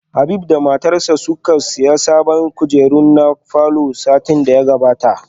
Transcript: Habib da matarsa ​​suka siya sabbin kujeru na falor satin da ya gabata